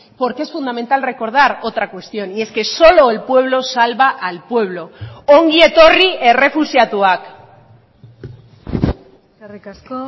porque es fundamental recordar otra cuestión y es que solo el pueblo salva al pueblo ongi etorri errefuxiatuak eskerrik asko